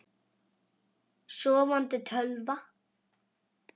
Sofandi tölva.